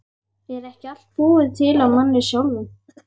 Er ekki allt búið til af manni sjálfum?